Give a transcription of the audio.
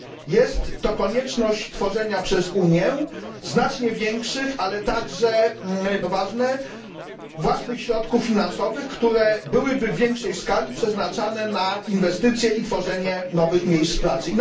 Jest to konieczność tworzenia przez Unię znacznie większych, ale także co moim zdaniem jest bardzo ważne własnych środków finansowych, które byłyby w większej skali przeznaczane na inwestycje i tworzenie nowych miejsc pracy.